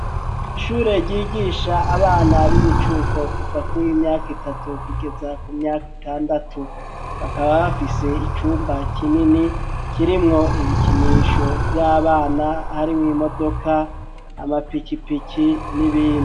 Ishure ryigisha abana b'imicuko kuva kuwi myaka itatu kugeza ku myaka itandatu bakaba bafise icumba kinini kirimwo ibikinisho vy'abana harimwo imodoka amapikipiki n'ibindi